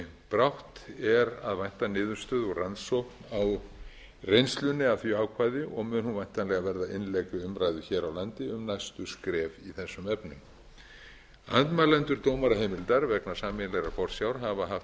brátt er að vænta niðurstöðu úr rannsókn á reynslunni af því ákvæði og mun hún væntanlega verða innlegg í umræðu hér á landi um næstu skref í þessum efnum andmælendur dómaraheimildar vegna sameiginlegrar forsjár hafa haft